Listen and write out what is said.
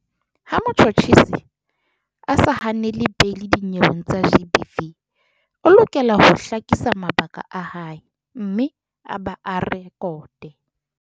Ha motjhutjhisi a sa hanele beili dinyeweng tsa GBV, o lokela ho hlakisa mabaka a hae mme ba a re-kote.